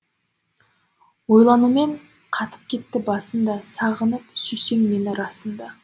ойланумен қатып кетті басымда сағынып сүйсең мені расында